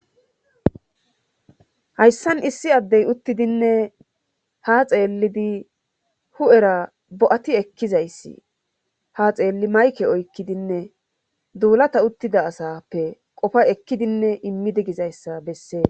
hayssan issi addey uttidinne ha xeellidi hu7era bo7ati ekkizayssi ha xeelli mayke oykkidinne duulata uttida asappe qofa ekkidinne immidi gizayssa bessee